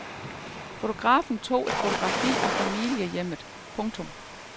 Fotografen tog et fotografi af familiehjemmet. punktum